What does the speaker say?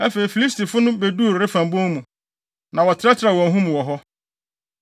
Afei, Filistifo no beduu Refaim bon mu, na wɔtrɛtrɛw wɔn ho mu wɔ hɔ.